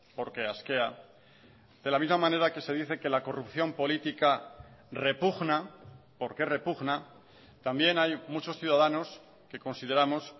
porque asquea de la misma manera que se dice que la corrupción política repugna porque repugna también hay muchos ciudadanos que consideramos